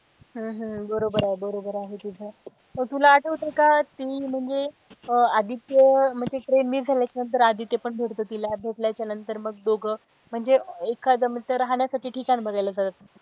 हम्म हम्म बरोबर आहे बरोबर आहे तीच तुला आठवतंय का ती म्हणजे आदित्य म्हणजे train miss झाल्याच्या नंतर आदित्य पण भेटतो तिला भेटल्याचा नंतर मग दोघे म्हणजे एखाद रहाण्यासाठी ठिकाण बघायला जातात.